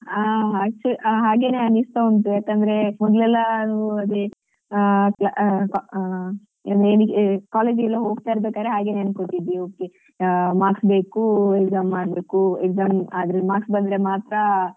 ಹಾ ಹಾ ಹಾಗೆನೇ ಅನಿಸ್ತಾ ಉಂಟು ಯಾಕಂದ್ರೆ ಮೊದ್ಲೆಲ್ಲಾ ಅದೆ ಆ ಆ ಆ college ಗೆಲ್ಲ ಹೋಗ್ತಾ ಇರ್ಬೇಕಾದ್ರೆ ಹಾಗೆನೇ ಅನ್ಕೋತಿದ್ದೆ okay marks ಬೇಕು exam ಮಾಡ್ಬೇಕು exam ಆದ್ರೆ marks ಬಂದ್ರೆ ಮಾತ್ರ,